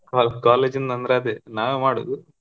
Co~ college ಇಂದ ಅಂದ್ರೆ ಅದೇ ನಾವೇ ಮಾಡೋದು.